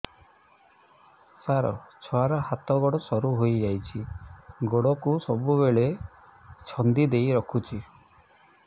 ସାର ଛୁଆର ହାତ ଗୋଡ ସରୁ ହେଇ ଯାଉଛି ଗୋଡ କୁ ସବୁବେଳେ ଛନ୍ଦିଦେଇ ରଖୁଛି